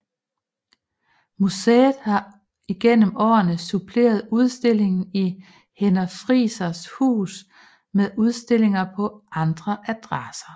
Museet har igennem årene suppleret udstillingen i Henner Friisers Hus med udstillinger på andre adresser